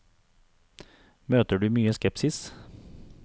Møter du mye skepsis?